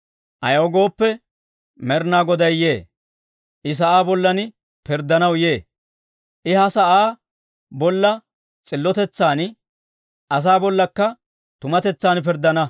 Ayaw gooppe, Med'inaa Goday yee; I sa'aa bollan pirddanaw yee; I ha sa'aa bolla s'illotetsan, asaa bollakka tumatetsan pirddana.